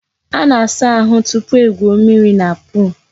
A na-asa ahu tupu egwuo mmiri na pol.